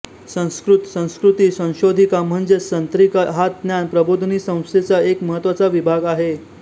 संस्कृत संस्कृती संशोधिका म्हणजेच संत्रिका हा ज्ञान प्रबोधिनी संस्थेचा एक महत्त्वाचा विभाग आहे